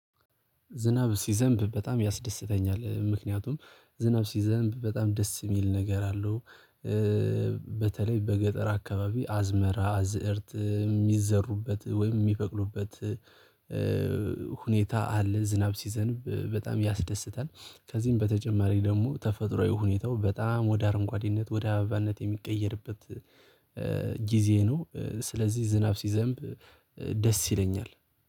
ዝናብ ሲዘንብ በጣም ያስደስተኛል ምክንያቱም ዝናብ ሲዘንብ በጣም ደስ የሚል ነገር አለው። በተለይ በገጠር አካባቢ አዝመራ አዝእርት የሚዘሩበት ወይም የሚበቅሉበት። ሁኔታ አለ ዝናብ ሲዘንብ በጣም ያስደስታል። ከዚህም በተጨማሪ ደግሞ ተፈጥሮአዊ ሁኔታው በጣም ወደ አረንጓዴነት ወደ አበባነት የሚቀየርበት ጊዜ ነው። ስለዚህ ዝናብ ሲዘንብ ደስ ይለኛል